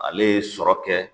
Ale ye sɔrɔ kɛ